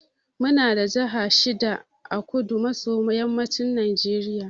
Muna da jaha shida a kudu maso yammacin najeriya.